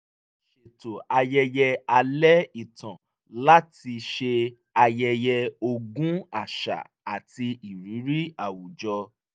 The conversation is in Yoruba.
a ṣetò ayẹyẹ alẹ́ ìtàn láti ṣe ayẹyẹ ogún àṣà àti ìrírí àwùjọ